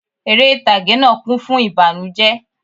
Eré ìtàgé náà kún fún ìbànújẹ́